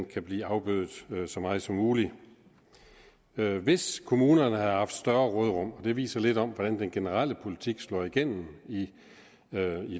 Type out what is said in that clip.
kan blive afbødet så meget som muligt hvis kommunerne havde haft større råderum og det viser lidt om hvordan den generelle politik slår igennem i